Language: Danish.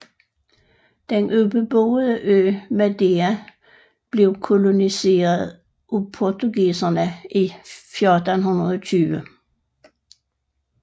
Den ubeboede ø Madeira blev koloniseret af portugiserne i 1420